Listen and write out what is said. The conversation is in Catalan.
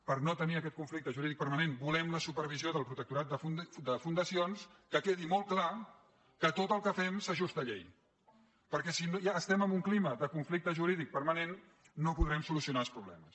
per no tenir aquest conflic·te jurídic permanent volem la supervisió del protecto·rat de fundacions que quedi molt clar que tot el que fem s’ajusta a llei perquè si es·tem en un clima de conflicte jurídic permanent no po·drem solucionar els problemes